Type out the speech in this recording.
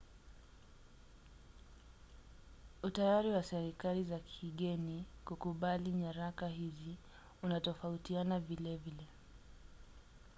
utayari wa serikali za kigeni kukubali nyaraka hizi unatofautiana vilevile